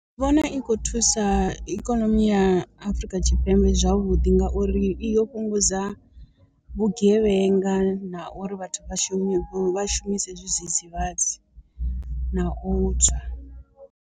Ndi vhona i kho thusa ikonomi ya Afurika Tshipembe zwavhuḓi ngauri i yo fhungudza vhugevhenga na uri vhathu vha shumi vha shumise zwidzidzivhadzi na u tswa.